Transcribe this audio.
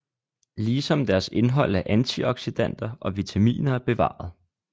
Ligesom deres indhold af antioxidanter og vitaminer er bevaret